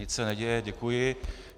Nic se neděje, děkuji.